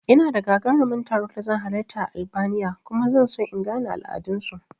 Ina da gagaruman taro da zan halarta a Albania kuma zan so in in gane al'adan su